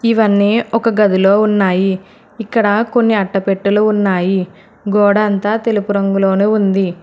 ఇవన్నీ ఒక గదిలో ఉన్నాయి ఇక్కడ కొన్ని అట్టపెట్టెలు ఉన్నాయి గోడంతా తెలుపు రంగులోను ఉంది.